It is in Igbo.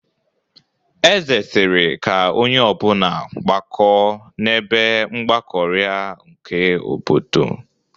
Eze sịrị ka onye ọbụna gbakọọ n'ebe mgbakọrịa nke obodo.